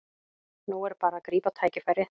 Nú er bara að grípa tækifærið